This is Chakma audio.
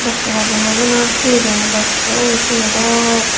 matraw room obw na hi room obw ekkrey obiz rumo dok.